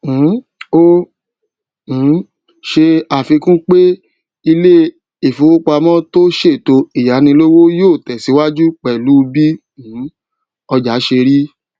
um ó um ṣe àfikún pé ilé ìfowópamó tó ṣètò ìyánilówó yóò tèsíwájú pèlú bí um ọjà ṣe rí